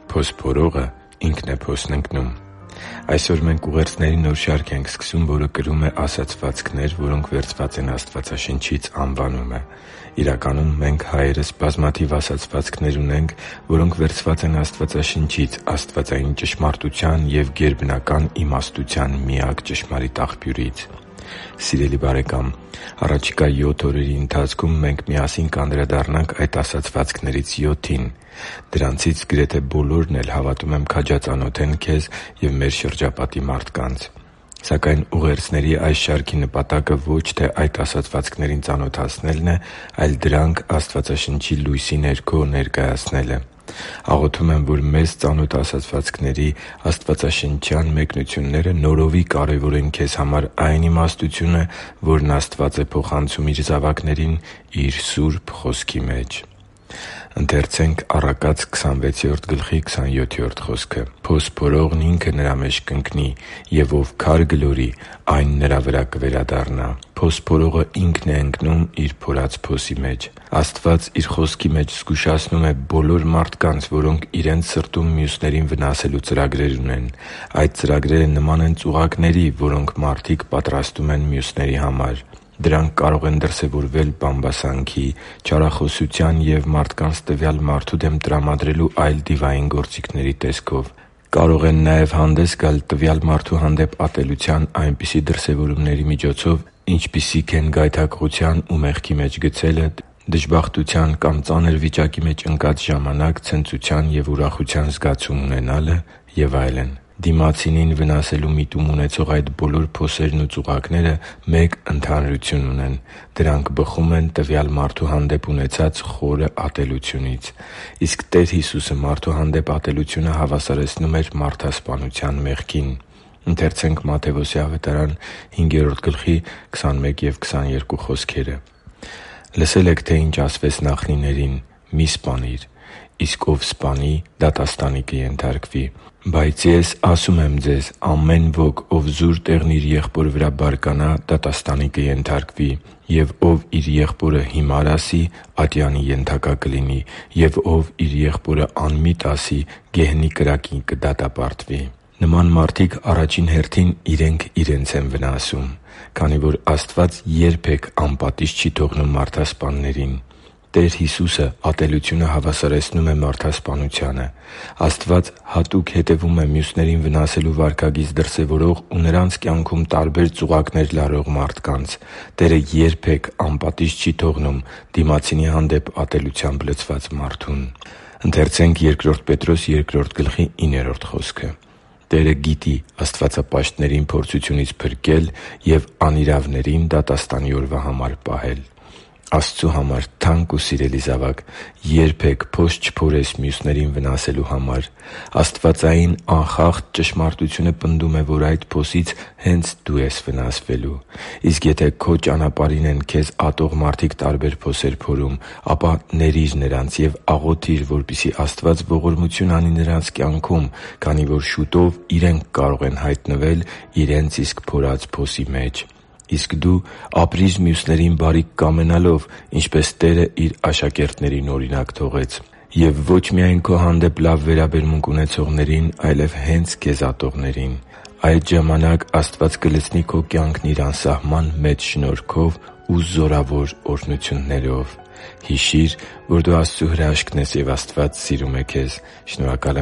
Փոս փորողն ինքն է փոսն ընկնում Այսօր մենք ուղերձների նոր շարք ենք սկսում, որը կրում է «Ասացվածքներ, որոնք վերցված են Աստվածաշնչից» անվանումը։ Իրականում, մենք՝ հայերս, բազմաթիվ ասացվածքներ ունենք, որոնք վերցված են Աստվածաշնչից՝ աստվածային ճշմարտության և գերբնական իմաստության միակ ճշմարիտ Աղբյուրից։ Սիրելի՛ բարեկամ, առաջիկա յոթ օրերի ընթացքում մենք միասին կանդրադառնանք այդ ասացվածքներից յոթին։ Դրանցից գրեթե բոլորն էլ, հավատում եմ, քաջածանոթ են քեզ և մեր շրջապատի մարդկանց։ Սակայն ուղերձների այս շարքի նպատակը ոչ թե այդ ասացվածքներին ծանոթացնելն է, այլ՝ դրանք Աստվածաշնչի լույսի ներքո ներկայացնելը։ Աղոթում եմ, որ մեզ ծանոթ ասացվածքների աստվածաշնչյան մեկնությունները նորովի կարևորեն քեզ համար այն իմաստությունը, որն Աստված է փոխանցում Իր զավակներին Իր Սուրբ Խոսքի մեջ։ «Փոս փորողն ինքը նրա մեջ կընկնի, և ով քար գլորի, այն նրա վրա կվերադառնա» (Առակաց 26․27): Փոս փորողն ինքն է ընկնում իր փորած փոսի մեջ։ Աստված Իր խոսքի մեջ զգուշացնում է բոլոր մարդկանց, որոնք իրենց սրտում մյուսներին վնասելու ծրագրեր ունեն։ Այդ ծրագրերը նման են ծուղակների, որոնք մարդիկ պատրաստում են մյուսների համար։ Դրանք կարող են դրսևորվել բամբասանքի, չարախոսության և մարդկանց տվյալ մարդու դեմ տրամադրելու այլ դիվային գործիքների տեսքով։ Կարող են նաև հանդես գալ տվյալ մարդու հանդեպ ատելության այնպիսի դրսևորումների միջոցով, ինչպիսիք են գայթակղության ու մեղքի մեջ գցելը, դժբախտության կամ ծանր վիճակի մեջ ընկած ժամանակ ցնծության և ուրախության զգացում ունենալը և այլն։ Դիմացինին վնասելու միտում ունեցող այդ բոլոր փոսերն ու ծուղակները մեկ ընդհանրություն ունեն՝ դրանք բխում են տվյալ մարդու հանդեպ ունեցած խորը ատելությունից։ Իսկ Տեր Հիսուսը մարդու հանդեպ ատելությունը հավասարեցնում էր մարդասպանության մեղքին։ «Լսել եք, թե ի՛նչ ասվեց նախնիներին. "Մի՛ սպանիր" (Ելք 20.13, Բ Օր. 5.17), իսկ ով սպանի, դատաստանի կենթարկվի։ Բայց Ես ասում եմ ձեզ. ամեն ոք, ով զուր տեղն իր եղբոր վրա բարկանա, դատաստանի կենթարկվի, և ով իր եղբորը "հիմար" ասի, ատյանի ենթակա կլինի, և ով իր եղբորը "անմիտ" ասի, գեհենի կրակին կդատապարտվի» (Մատթեոս 5․21-22): Նման մարդիկ առաջին հերթին իրենք իրենց են վնասում, քանի որ Աստված երբե՛ք անպատիժ չի թողնում մարդասպաններին։ Տեր Հիսուսը ատելությունը հավասարեցնում է մարդասպանությանը։ Աստված հատուկ հետևում է մյուսներին վնասելու վարքագիծ դրսևորող ու նրանց կյանքում տարբեր ծուղակներ լարող մարդկանց։ Տերը երբե՛ք անպատիժ չի թողնում դիմացինի հանդեպ ատելությամբ լցված մարդուն։ «Տերը գիտի աստվածապաշտներին փորձությունից փրկել և անիրավներին դատաստանի օրվա համար պահել» (Բ Պետրոս 2․9): Աստծու համար թանկ ու սիրելի՛ զավակ, երբե՛ք փոս չփորես մյուսներին վնասելու համար։ Աստվածային անխախտ ճշմարտությունը պնդում է, որ այդ փոսից հե՛նց դու ես վնասվելու։ Իսկ եթե քո ճանապարհին են քեզ ատող մարդիկ տարբեր փոսեր փորում, ապա ների՛ր նրանց և աղոթի՛ր, որպեսզի Աստված ողորմություն անի նրանց կյանքում, քանի որ շուտով իրենք կարող են հայտնվել իրենց իսկ փորած փոսի մեջ։ Իսկ դու ապրի՛ր մյուսներին բարիք կամենալով, ինչպես Տերը Իր աշակերտներին օրինակ թողեց։ Եվ ո՛չ միայն քո հանդեպ լավ վերաբերմունք ունեցողներին, այլև հե՛նց քեզ ատողներին։ Այդ ժամանակ Աստված կլցնի քո կյանքն Իր անսահման մեծ շնորհքով ու զորավոր օրհնություններով։ Հիշի՛ր, որ դու Աստծո հրաշքն ես, և Աստված սիրում է քեզ։ Շնորհակալ